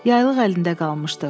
Yaylıq əlində qalmışdı.